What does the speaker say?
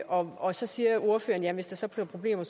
og og så siger ordføreren at hvis der bliver problemer